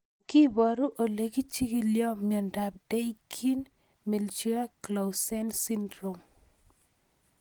Kiparu ole ichig'ildoi miondop Dyggve Melchior Clausen syndrome.